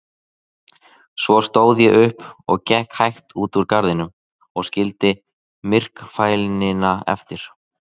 Svo stóð ég upp og gekk hægt út úr garðinum og skildi myrkfælnina eftir.